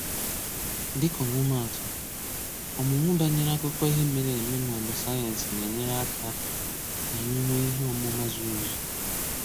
Dịka ọmụmaatụ, ọmụmụ banyere akụkọ ihe mere eme maọbụ sayensị na-enyere anyị aka k'anyi nwee ihe ọmụma zuru ezu.